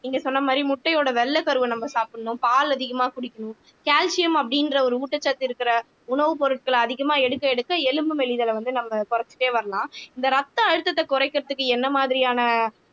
நீங்க சொன்ன மாதிரி முட்டையோட வெள்ளைக்கருவை நம்ம சாப்பிடணும் பால் அதிகமா குடிக்கணும் கால்சியம் அப்படின்ற ஒரு ஊட்டச்சத்து இருக்கிற உணவுப் பொருட்களை அதிகமா எடுக்க எடுக்க எலும்பு மெலிதலை வந்து நம்ம குறைச்சுட்டே வரலாம் இந்த ரத்த அழுத்தத்தை குறைக்கிறதுக்கு என்ன மாதிரியான